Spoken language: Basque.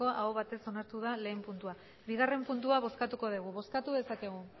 aho batez onartu da lehen puntua bigarren puntua bozkatuko dugu bozkatu dezakegu